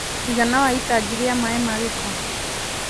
Mũigana wa itangi rĩa maĩ ma giko.?